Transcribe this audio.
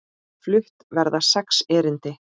Flutt verða sex erindi.